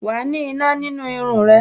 Wa ni iná nínú irun rẹ